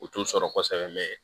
U t'u sɔrɔ kosɛbɛ